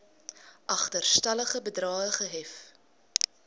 agterstallige bedrae gehef